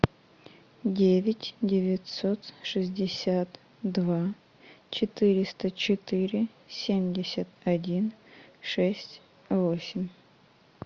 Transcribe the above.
девять девятьсот шестьдесят два четыреста четыре семьдесят один шесть восемь